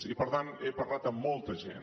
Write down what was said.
i per tant he parlat amb molta gent